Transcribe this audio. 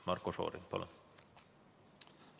Marko Šorin, palun!